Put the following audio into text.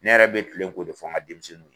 Ne yɛrɛ bɛ kile ko de fɔ n ka denmisɛnninw ye